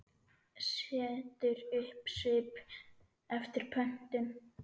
Setur upp svip eftir pöntun.